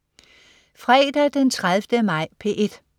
Fredag den 30. maj - P1: